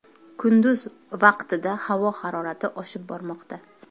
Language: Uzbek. Kunduz vaqtida havo harorati oshib bormoqda.